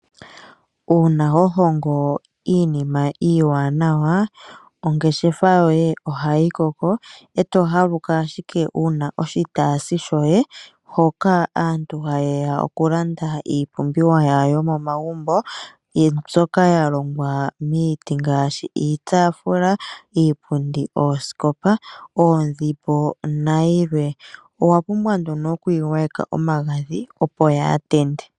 Una ho hongo iinima iiwanawa, ongeshefa yoye oha yi koko eto haluka wuna oshitasi shoye hoka aantu ha yeya oku landa iipumbiwa yawo yomo magumbo mbyoka ya longwa miiti ngashi iitafula, iipundi, ooskopa, oodhimbo na yilwe. Owa pumbwa nduno oku yi gwa yeka omagadhi opo ya tende.